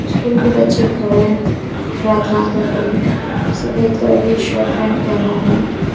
School के बच्चे खड़े हैं प्रार्थना कर रहे हैं सफेद कलर की शर्ट पैंट पहने हुए हैं।